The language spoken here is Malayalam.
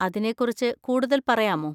അതിനെ കുറിച്ച് കൂടുതൽ പറയാമോ?